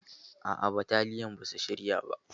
Aa, bataliyan basu shirya ba.